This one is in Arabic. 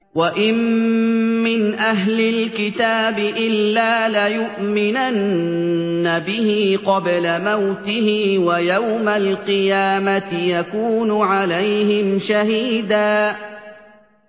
وَإِن مِّنْ أَهْلِ الْكِتَابِ إِلَّا لَيُؤْمِنَنَّ بِهِ قَبْلَ مَوْتِهِ ۖ وَيَوْمَ الْقِيَامَةِ يَكُونُ عَلَيْهِمْ شَهِيدًا